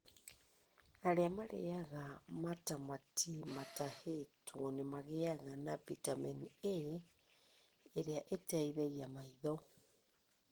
Arĩa marĩĩaga matamati matahĩtwo nĩ magĩaga na bitamini A ĩrĩa ĩteithagia maitho.